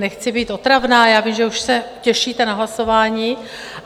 Nechci být otravná, já vím, že už se těšíte na hlasování.